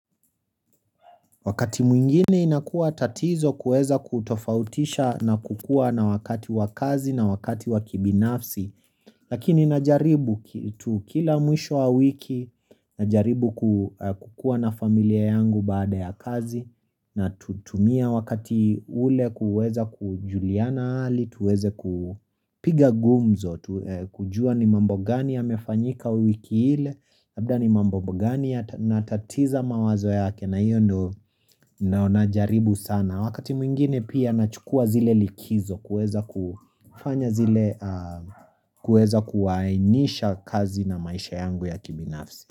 Wakati mwingine inakua tatizo kuweza kutofautisha na kukua na wakati wa kazi na wakati wa kibinafsi lakini najaribu tu kila mwisho wa wiki na jaribu kukua na familia yangu baada ya kazi natumia wakati ule kuweza kujuliana hali tuweze kupiga gumzo kujua ni mambo gani yamefanyika wiki hile labda ni mambo gani yanatatiza mawazo yake na hiyo ndo naonajaribu sana wakati mwingine pia nachukua zile likizo kueza kufanya zile kueza kuwaainisha kazi na maisha yangu ya kibinafsi.